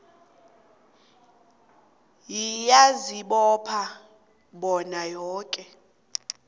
ngiyazibopha bona yoke